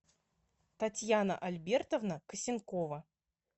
татьяна альбертовна косенкова